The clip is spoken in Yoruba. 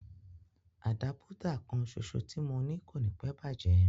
Àdápútà kanṣoṣo tí mo ní kò níí pẹ́ bàjẹ́